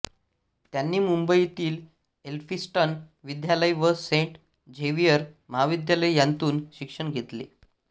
त्यांनी मुंबईतील एल्फिन्स्टन विद्यालय व सेंट झेवियर महाविद्यालय यांतून शिक्षण घेतले